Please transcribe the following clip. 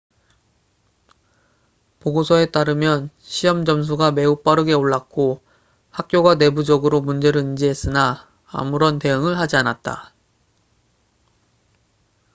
보고서에 따르면 시험 점수가 매우 빠르게 올랐고 학교가 내부적으로 문제를 인지했으나 아무런 대응을 하지 않았다